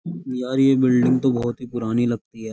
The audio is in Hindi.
यार ये बिल्डिंग तो बहुत ही पुरानी लगती है।